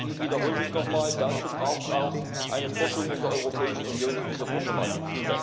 Ich wiederhole mich noch einmal Dazu braucht es auch eine Forschung in der Europäischen Union zu dieser Problematik.